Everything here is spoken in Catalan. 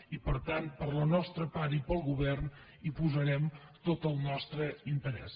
i per tant per la nostra part i pel govern hi posarem tot el nostre interès